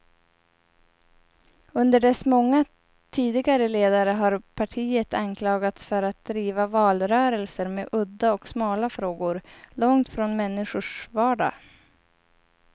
Under dess många tidigare ledare har partiet anklagats för att driva valrörelser med udda och smala frågor, långt från människors vardag.